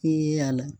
A la